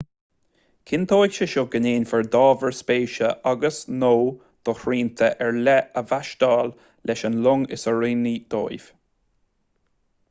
cinnteoidh sé seo go ndéanfar d'ábhair spéise agus/nó do shrianta ar leith a mheaitseáil leis an long is oiriúnaí dóibh